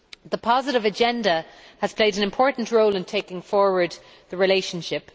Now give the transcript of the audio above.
The positive agenda has played an important role in taking forward the relationship.